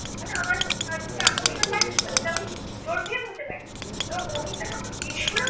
মানে আমার তার প্রতি আকর্ষণ বাড়তে পারে এটা আমি জোর দিয়ে বলতে পারি এবং মহিন দা যখন বেসুরো